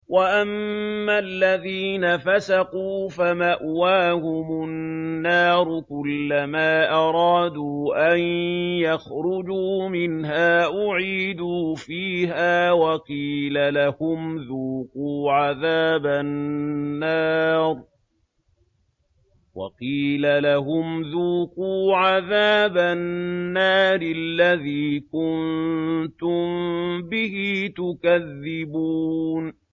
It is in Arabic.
وَأَمَّا الَّذِينَ فَسَقُوا فَمَأْوَاهُمُ النَّارُ ۖ كُلَّمَا أَرَادُوا أَن يَخْرُجُوا مِنْهَا أُعِيدُوا فِيهَا وَقِيلَ لَهُمْ ذُوقُوا عَذَابَ النَّارِ الَّذِي كُنتُم بِهِ تُكَذِّبُونَ